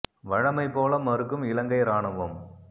வழமை போல மறுக்கும் இலங்கை இராணுவம்